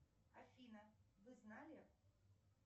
афина вы знали